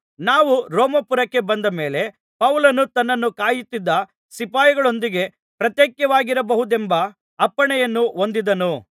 ನಾವು ರೋಮಾಪುರಕ್ಕೆ ಬಂದ ಮೇಲೆ ಪೌಲನು ತನ್ನನ್ನು ಕಾಯುತ್ತಿದ್ದ ಸಿಪಾಯಿಯೊಂದಿಗೆ ಪ್ರತ್ಯೇಕವಾಗಿರಬಹುದೆಂಬ ಅಪ್ಪಣೆಯನ್ನು ಹೊಂದಿದನು